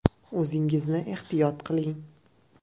O‘zingizni ehtiyot qiling.